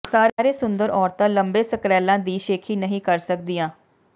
ਸਾਰੇ ਸੁੰਦਰ ਔਰਤਾਂ ਲੰਬੇ ਸਕਰੈਲਾਂ ਦੀ ਸ਼ੇਖੀ ਨਹੀਂ ਕਰ ਸਕਦੀਆਂ